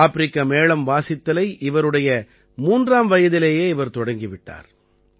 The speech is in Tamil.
ஆப்பிரிக்க மேளம் வாசித்தலை இவருடைய 3ஆம் வயதிலேயே இவர் தொடங்கி விட்டார்